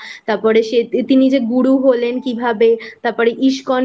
ওঠা তারপর তিনি যে গুরু হলেন কিভাবে তারপর ISKCON